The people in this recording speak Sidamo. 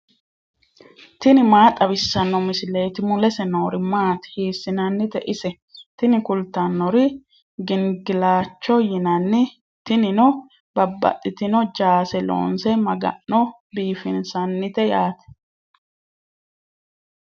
tini maa xawissanno misileeti ? mulese noori maati ? hiissinannite ise ? tini kultannori gingilchaho yinanni tinino babbaxxitino jaase loonse maga'no biifinsannite yaate.